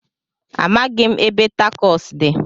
Amaghị m ebe takos dị.